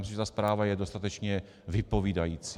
Myslím, že ta zpráva je dostatečně vypovídající.